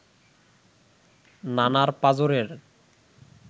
নানার পাঁজরের